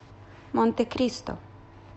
монтекристо